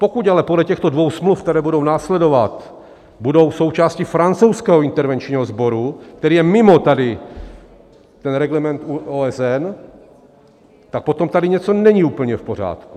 Pokud ale podle těchto dvou smluv, které budou následovat, budou součástí francouzského intervenčního sboru, který je mimo tady ten reglement OSN, tak potom tady něco není úplně v pořádku.